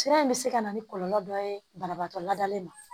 Sira in bɛ se ka na ni kɔlɔlɔ dɔ ye banabaatɔ ladalen ma